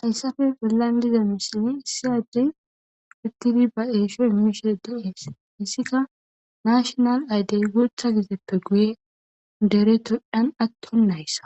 Hayssafe bolan diza missilan issi addey utidi ba eesho immishe de'es hissika nashinal aydey gutha gizeppe guye dere topiyan attonayssa